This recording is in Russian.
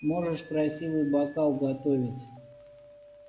можешь красивый бокал готовить